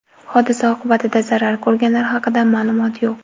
Hodisa oqibatida zarar ko‘rganlar haqida ma’lumot yo‘q.